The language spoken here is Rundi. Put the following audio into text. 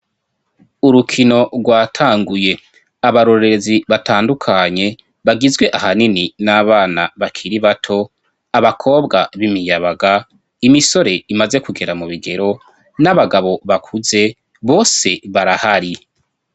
Urukino rwatanguye, abarorezi batandukanye bagizwe ahanini n'abana bakiri bato abakobwa b'imiyabaga, imisore imaze kugera mu bigero n'abagabo bakuze bose barahari.